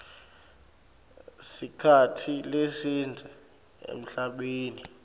sikhatsi lesidze emhlabeni